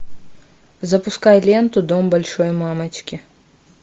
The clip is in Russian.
запускай ленту дом большой мамочки